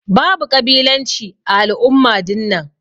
Babu kabilanci ã al'umma dinnan.